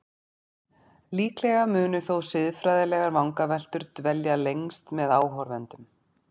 Líklega munu þó siðfræðilegar vangaveltur dvelja lengst með áhorfendum.